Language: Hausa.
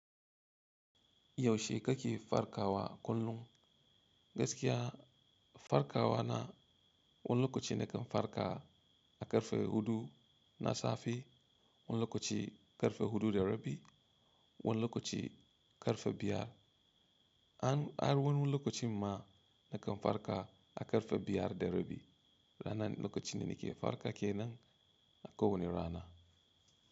Yaushe kake farkawa kullum? Gaskiya farkawa na wani lokaci nakan farka a ƙarfe huɗu na safe, wani lokaci ƙarfe huɗu da rabi, wani lokaci ƙarfe biyar. Hara wani lokacin ma nakan farka a ƙarfe biyar da rabi, ranan lokacin nake farka kenan a ko wani rana.